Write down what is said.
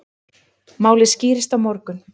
Málið skýrist á morgun.